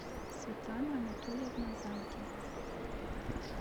светлана анатольевна занкина